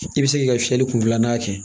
I bɛ se k'i ka fiyɛli kun filanan kɛ